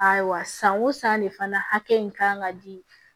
Ayiwa san o san de fana hakɛ in kan ka di